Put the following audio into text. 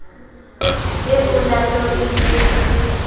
e olato e ne e